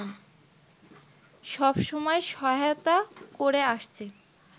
সব সময় সহায়তা করে আসছে